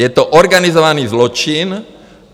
Je to organizovaný zločin.